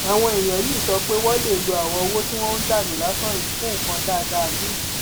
àwọn èèyàn yìí sọ pé wọn lè lo àwọn owó tí wọn ná dànù lásán yìí fún nǹkan dáadáa miín